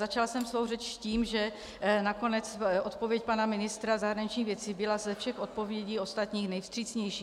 Začala jsem svou řeč tím, že nakonec odpověď pana ministra zahraničních věcí byla ze všech odpovědí ostatních nejvstřícnější.